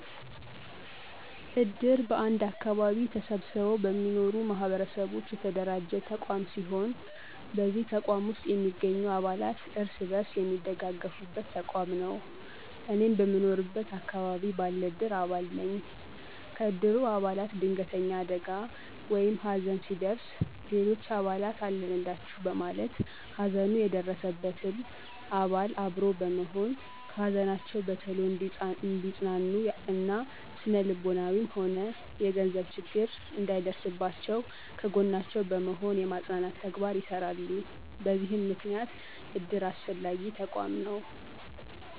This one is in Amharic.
እድር በአንድ አከባቢ ተሰብስበው በሚኖሩ ማህበረሰቦች የተደራጀ ተቋም ሲሆን በዚህ ተቋም ውስጥ የሚገኙ አባላት እርስ በርስ የሚደጋገፉበት ተቋም ነው። እኔም በምኖርበት አከባቢ ባለ እድር አባል ነኝ። ከእድሩ አባላት ድንገተኛ አደጋ ወይም ሀዘን ሲደርስ ሌሎች አባላት አለንላቹ በማለት ሀዘኑ የደረሰበትን አባል አብሮ በመሆን ከሀዘናቸው በቶሎ እንዲፅናኑ እና ስነልቦናዊም ሆነ የገንዘብ ችግር እንዳይደርስባቸው ከጎናቸው በመሆን የማፅናናት ተግባር ይሰራሉ በዚህም ምክንያት እድር አስፈላጊ ተቋም ነው።